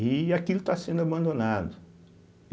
E aquilo está sendo abandonado.